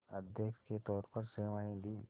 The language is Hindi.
अध्यक्ष के तौर पर सेवाएं दीं